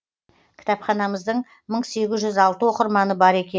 кітапханамыздың мың сегіз жүз алты оқырманы бар екен